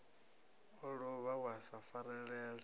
a lovha wa sa farelela